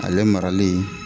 Ale marali